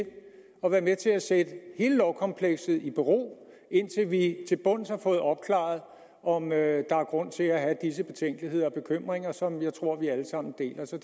at være med til at sætte hele lovkomplekset i bero indtil vi til bunds har fået opklaret om der er grund til at have disse betænkeligheder og bekymringer som jeg tror at vi alle sammen deler så